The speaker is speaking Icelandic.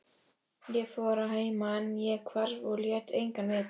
Ég fór að heiman, ég hvarf og lét engan vita.